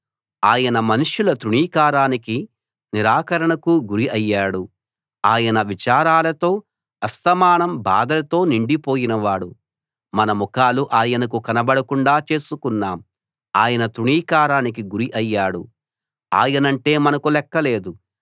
ఆయన మనుష్యుల తృణీకారానికీ నిరాకరణకూ గురి అయ్యాడు ఆయన విచారాలతో అస్తమానం బాధలతో నిండిపోయినవాడు మన ముఖాలు ఆయనకు కనబడకుండా చేసుకున్నాం ఆయన తృణీకారానికి గురి అయ్యాడు ఆయనంటే మనకు లెక్కలేదు